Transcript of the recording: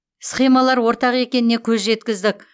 схемалар ортақ екеніне көз жеткіздік